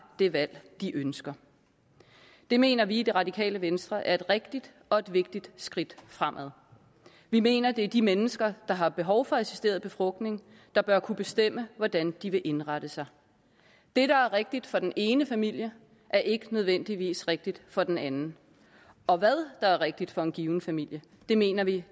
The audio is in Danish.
det valg de ønsker det mener vi i det radikale venstre er et rigtigt og et vigtigt skridt fremad vi mener at det er de mennesker der har behov for assisteret befrugtning der bør kunne bestemme hvordan de vil indrette sig det der er rigtigt for den ene familie er ikke nødvendigvis rigtigt for den anden og hvad der er rigtigt for en given familie mener vi